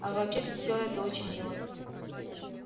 а вообще всё это очень мило